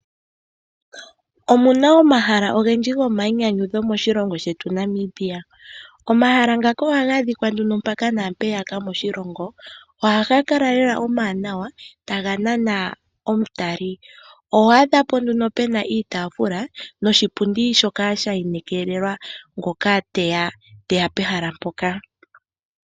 Omuna omahala ogendji gomayinyanyudho moshilongo shetu Namibia. Omahala ngaka oha ga adhika nduno mpaka naampeyaka moshilongo. Ohaga kala lela omawanawa taga nana omutali. Oho adhapo nduno puna iitaafula noshipundi shoka sha inekelelwa ngoka teya pehala mpoka.